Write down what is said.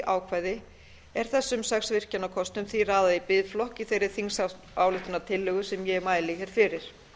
ákvæði er þessum sex virkjunarkostum raðað í biðflokk í þeirri þingsályktunartillögu sem ég mæli fyrir